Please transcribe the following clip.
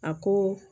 A ko